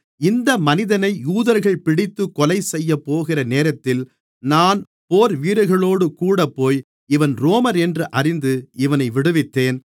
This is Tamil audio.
இந்த மனிதனை யூதர்கள் பிடித்துக் கொலைசெய்யப்போகிற நேரத்தில் நான் போர்வீரர்களோடு கூடப்போய் இவன் ரோமனென்று அறிந்து இவனை விடுவித்தேன்